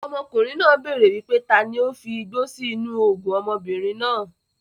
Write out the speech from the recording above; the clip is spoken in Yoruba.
Ọmọkùnrin náà béèrè wípé taani ó fi igbó sì inú oògùn ọmọbìnrin náà.